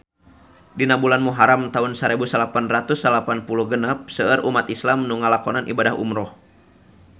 Dina bulan Muharam taun sarebu salapan ratus salapan puluh genep seueur umat islam nu ngalakonan ibadah umrah